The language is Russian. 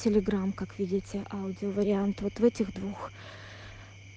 телеграмм как видите аудио вариант вот в этих двух